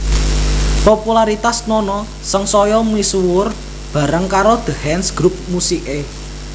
Popularitas Nono sangsaya misuwur bareng karo The Hands grup musiké